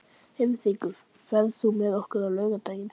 Heiðrekur, ferð þú með okkur á laugardaginn?